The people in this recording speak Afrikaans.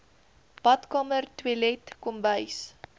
badkamer toilet kombuis